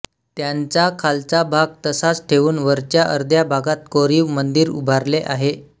त्यांचा खालचा भाग तसाच ठेवून वरच्या अर्ध्या भागात कोरीव मंदिर उभारले आहे